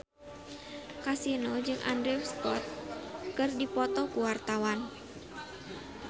Kasino jeung Andrew Scott keur dipoto ku wartawan